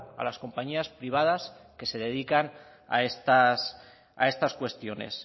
a las compañías privadas que se dedican a estas cuestiones